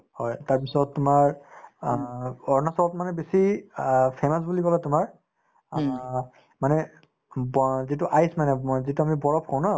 হয়, তাৰপিছত তোমাৰ অ অৰুণাচলত মানে বেছি অ famous বুলি কলে তোমাৰ অ মানে যিটো ice মানে মই যিটো আমি বৰফ বুলি কওঁ ন